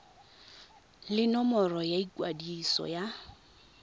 le nomoro ya ikwadiso ya